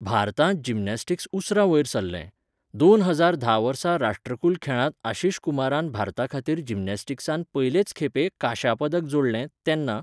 भारतांत जिमनास्टिक्स उसरा वयर सरलें, दोन हजार धा वर्सा राष्ट्रकुल खेळांत आशीष कुमारान भारताखातीर जिमनास्टिक्सांत पयलेच खेपे कांश्या पदक जोडलें, तेन्ना.